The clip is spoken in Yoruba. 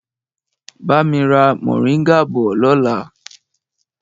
Bami ra moringa bọ̀ lọ́la!